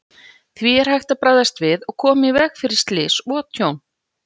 Því er hægt að bregðast við og koma í veg fyrir slys og tjón.